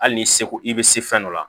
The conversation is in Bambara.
Hali n'i seko i bɛ se fɛn dɔ la